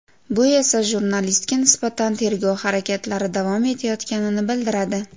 Bu esa jurnalistga nisbatan tergov harakatlari davom etayotganini bildiradi.